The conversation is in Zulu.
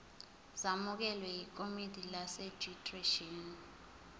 zamukelwe yikomidi lerejistreshini